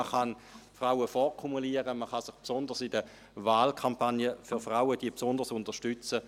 Man kann Frauen vorkumulieren, man kann die Wahlkampagnen für Frauen besonders unterstützen;